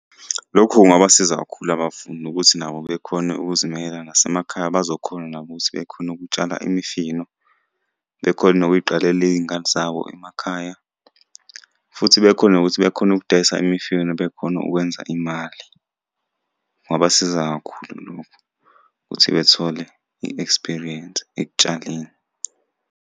Lokhu kungabasiza kakhulu abafundi ukuthi nabo bekhone ukuzimela nasemakhaya bazokhona nabo ukuthi bekhone ukutshala imifino, bekhone nokuy'qalela iy'ngadi zabo emakhaya, futhi bekhone nokuthi bekhona ukudayisa imifino bekhone ukwenza imali. Kungabasiza kakhulu lokhu, ukuthi bethole i-experience ekutshaleni.